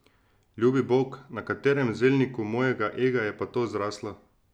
Ljubi bog, na katerem zelniku mojega ega je pa to zraslo?